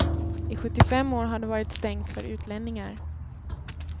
I sjuttiofem år har det varit stängt för utlänningar.